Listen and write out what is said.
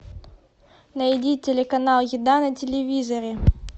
найди телеканал еда на телевизоре